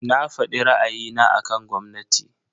Na fadi ra'ayina akan gwamnati.